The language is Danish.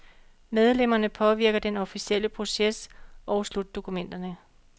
Medlemmerne påvirker den officielle proces og slutdokumenterne.